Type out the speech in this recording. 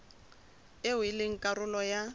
eo e leng karolo ya